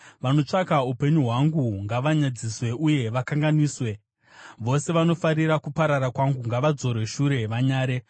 Vanotsvaka upenyu hwangu ngavanyadziswe uye vakanganiswe; vose vanofarira kuparara kwangu ngavadzorwe shure vanyare.